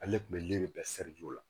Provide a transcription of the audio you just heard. Ale de kun bɛ yiri bɛɛ